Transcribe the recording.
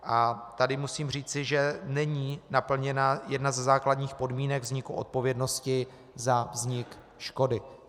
A tady musím říci, že není naplněna jedna ze základních podmínek vzniku odpovědnosti za vznik škody.